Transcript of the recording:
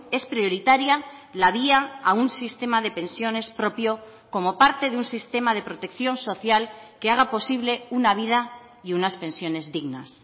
es prioritaria la vía a un sistema de pensiones propio como parte de un sistema de protección social que haga posible una vida y unas pensiones dignas